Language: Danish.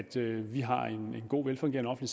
vi har en god velfungerende